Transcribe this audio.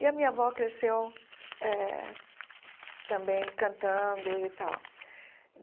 E a minha avó cresceu eh também cantando e tal.